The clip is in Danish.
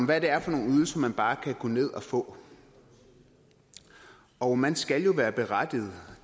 hvad det er for nogle ydelser man bare kan gå ned og få og man skal jo være berettiget